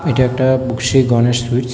এইটা একটা শ্রী গনেশ সুইটস ।